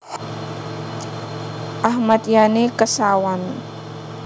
Ahmad Yani Kesawan